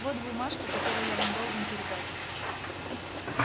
вот бумажка которую я вам должен передать